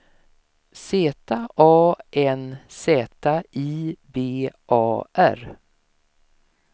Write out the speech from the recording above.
Z A N Z I B A R